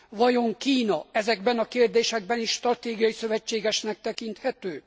Vajon Kína ezekben a kérdésekben is stratégiai szövetségesnek tekinthető?